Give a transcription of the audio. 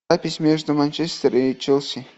запись между манчестер и челси